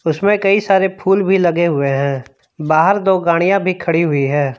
इसमें कई सारे फूल भी लगे हुए हैं बाहर दो गाड़ियां भी खड़ी हुई हैं।